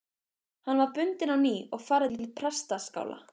Hann var bundinn á ný og færður til prestaskála.